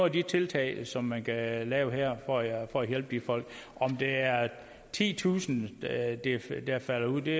af de tiltag som man kan lave her for at hjælpe de folk om det er titusind der falder ud ved